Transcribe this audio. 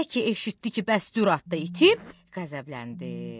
Elə ki eşitdi ki, bəs Dürat da itib, qəzəbləndi.